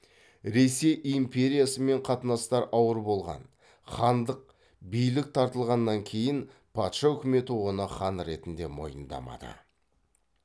ресей империясымен қатынастар ауыр болған хандық билік таратылғаннан кейін патша үкіметі оны хан ретінде мойындамады